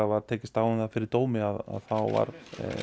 var tekist á um það fyrir dómi þá var